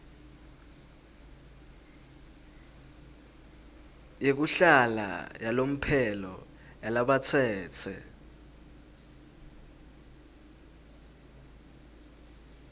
yekuhlala yalomphelo yalabatsetse